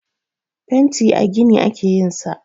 Fenti a gini ake yin sa.